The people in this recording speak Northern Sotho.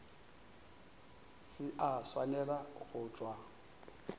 se a swanela go tšwa